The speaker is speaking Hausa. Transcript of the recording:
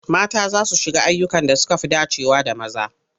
Mata za su ƙara shiga ayyukan da suka fi dacewa da maza.